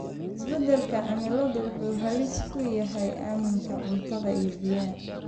Isbedelka cimiladu wuxuu halis ku yahay amniga cuntada iyo biyaha.